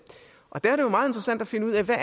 der er det jo meget interessant at finde ud af hvad